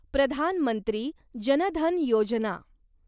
Pradhan Mantri Jan Dhan Yojana